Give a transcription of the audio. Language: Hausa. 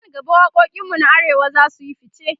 nan gaba waƙoƙin mu na arewa zasuyi ficce